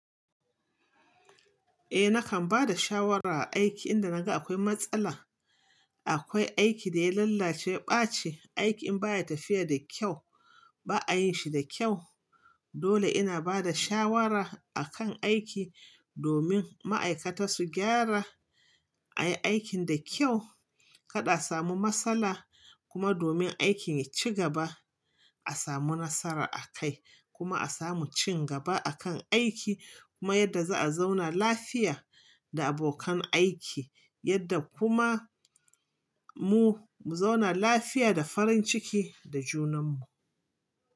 Eh nakan ba da shawara aiki inda naga akwai matsala. Akwai aiki da ya lallace, ya ɓaci aiki in baya tafiya da kyau ba a yin shi da kyau. Dole ina bada shawara akan aiki domin ma'aikata su gyara ayi aikin da kyau kada a samu matsala kuma domin aikin ya ci gaba a samu nasara a kai kuma a samu cin gaba akan aiki kuma yadda za'a zauna lafiya da abokan aiki yadda kuma mu zauna lafiya da farin ciki da junan mu.